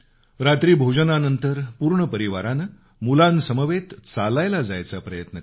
रात्री भोजनानंतर पूर्ण परिवारानं मुलांसमवेत चालायला जायचा प्रयत्न करावा